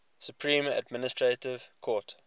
supreme administrative court